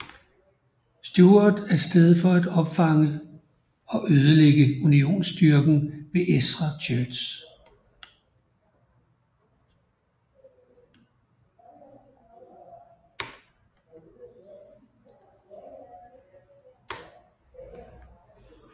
Stewart af sted for at opfange og ødelægge unionsstyrken ved Ezra Church